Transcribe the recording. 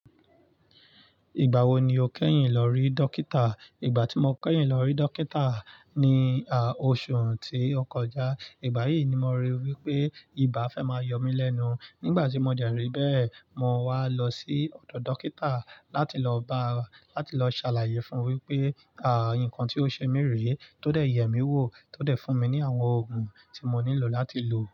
Ìgbà wo ni o kẹ́yìn lọ rí dọ́kítà? Ìgbà tí mo kẹ́yìn lọ rí dọ́kítà ni, à, oṣù tí ó kọjá. Ìgbà yìí ni mo ríi wípé ibà fẹ́ máa yọ mí lẹ́nu. Nígbà tí mo dẹ̀ rí bẹ́ẹ̀, mo wá lọ sí ọ̀dọ̀ dọ́kítà láti lọ ba, láti lọ ṣàlàyé fún un wípé, à, nnkan tí ó ṣe mí rèé, tó dẹ̀ yẹ̀ mí wò, tó dẹ̀ fún mi ní àwọn òògùn tí mo nílò láti lò.